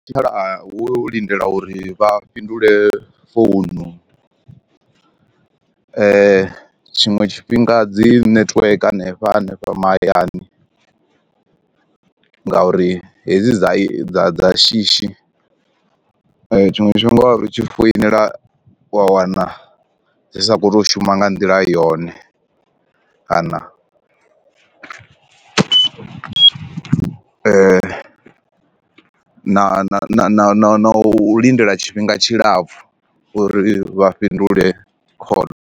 La wo lindela uri vha fhindule founu tshiṅwe tshifhinga dzi netiweke hanefha hanefha mahayani, nga uri hedzi dza dza dza shishi tshiṅwe tshifhinga ri tshi foinela wa wana dzi sa khou to shuma nga nḓila yone kana na na na u lindela tshifhinga tshilapfu uri vha fhindule khoḽo.